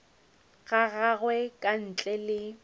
ga gagwe ka ntle le